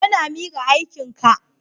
Yana mika aikinka.